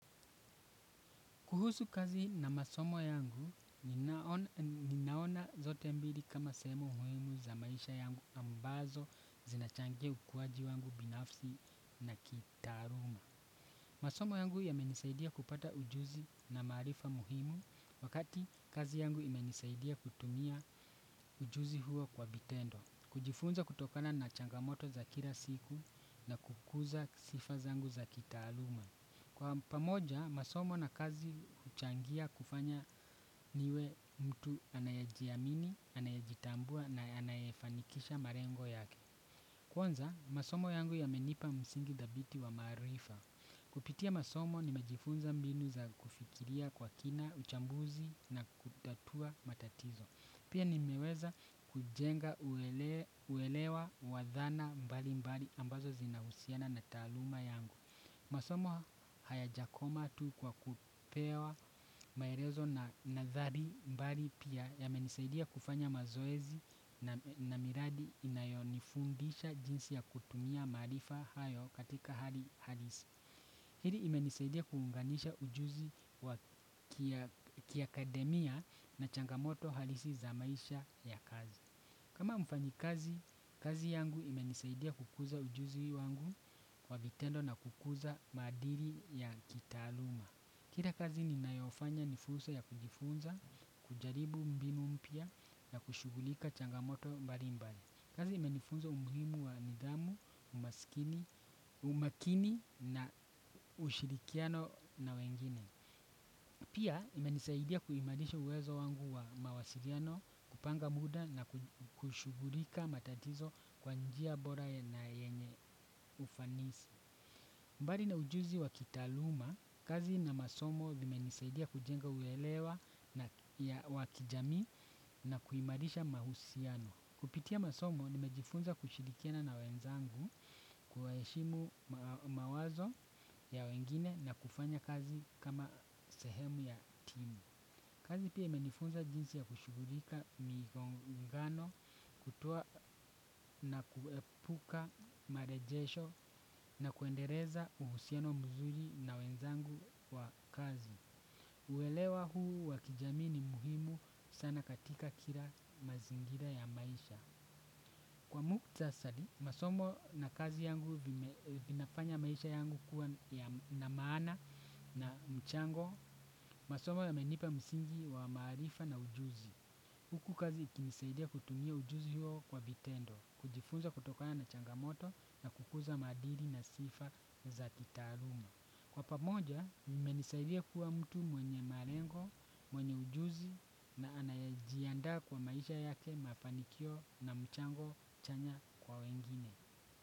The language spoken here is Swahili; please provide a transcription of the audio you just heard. Kuhusu kazi na masomo yangu, ninaona zote mbili kama sehemu muimu za maisha yangu ambazo zinachangia ukuwaji wangu binafsi na kitaaluma. Masomo yangu yamenisaidia kupata ujuzi na maarifa muhimu wakati kazi yangu imenisaidia kutumia ujuzi huo kwa vitendo. Kujifunza kutokana na changamoto za kila siku na kukuza sifa zangu za kitaaluma. Kwa pamoja, masomo na kazi uchangia kufanya niwe mtu anaejiamini, anaejitambua na anaefanikisha marengo yake. Kwanza, masomo yangu yamenipa msingi dhabiti wa maarifa. Kupitia masomo ni majifunza mbinu za kufikiria kwa kina, uchambuzi na kutatua matatizo. Pia nimeweza kujenga uelewa wa dhana mbali mbali ambazo zinahusiana na taaluma yangu. Masomo hayajakoma tu kwa kupewa maerezo na nathari mbali pia yamenisaidia kufanya mazoezi na miradi inayonifundisha jinsi ya kutumia maarifa hayo katika hali halisi. Hili imenisaidia kuunganisha ujuzi kiaakademia na changamoto halisi za maisha ya kazi. Kama mfanyikazi, kazi yangu imenisaidia kukuza ujuzi wangu kwa vitendo na kukuza madili ya kitaaluma. Kila kazi ninayofanya ni fursa ya kujifunza, kujaribu mbinu mpya na kushugulika changamoto mbali mbali. Kazi imenifunza umuhimu wa nidhamu, umakini na ushirikiano na wengine. Pia imenisaidia kuimarisha uwezo wangu wa mawasiriano, kupanga muda na kushugulika matatizo kwa njia bora na yenye ufanisi. Mbali na ujuzi wa kitaaluma, kazi na masomo vimenisaidia kujenga uwelewa ya wa kijami na kuimarisha mahusiano. Kupitia masomo nimejifunza kushilikiana na wenzangu kuwa heshimu mawazo ya wengine na kufanya kazi kama sehemu ya timu. Kazi pia imenifunza jinsi ya kushigulika migongano kutoa na kuepuka marejesho na kuendereza uhusiano mzuri na wenzangu wa kazi. Uelewa huu wa kijamii ni muhimu sana katika kila mazingira ya maisha. Kwa mkutasari, masomo na kazi yangu vinafanya maisha yangu kuwa na maana na mchango, masomo yamenipa msingi wa maarifa na ujuzi. Huku kazi ikinisaidia kutumia ujuzi huo kwa vitendo, kujifunza kutokana na changamoto na kukuza madiri na sifa na za kitaarumo. Kwa pamoja, mmenisaidia kuwa mtu mwenye marengo, mwenye ujuzi na anaejiandaa kwa maisha yake mafanikio na mchango chanya kwa wengine.